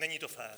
Není to fér.